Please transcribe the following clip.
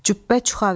Cübbə çuxa verdi.